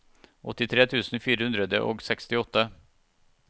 åttitre tusen fire hundre og sekstiåtte